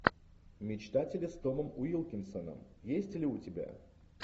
мечтатели с томом уилкинсоном есть ли у тебя